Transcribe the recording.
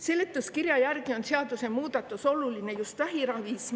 Seletuskirja järgi on seadusemuudatus oluline just vähiraviks.